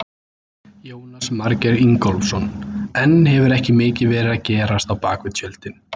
Jónas Margeir Ingólfsson: En hefur ekki mikið verið að gerast á bakvið tjöldin?